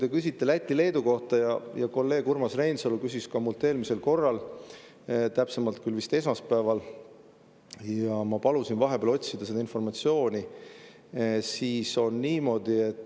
Te küsisite Läti-Leedu kohta ja kolleeg Urmas Reinsalu küsis minult eelmisel korral, täpsemalt küll vist esmaspäeval, ja ma palusin vahepeal otsida seda informatsiooni.